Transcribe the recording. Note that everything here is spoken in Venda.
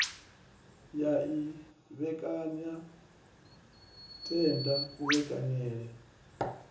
ya i vhekanya tenda kuvhekaneyele